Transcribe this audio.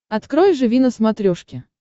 открой живи на смотрешке